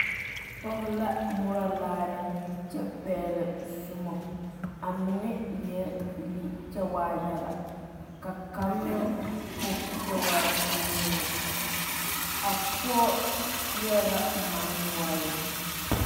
Pɔge la Moɔre laare kyɛ pegle zɔmo a mine eɛ bibile kyɛ waa yaga ka kaŋa meŋ e kpoŋ kyɛ waa bonyeni a pɔge pegle la manne noɔre.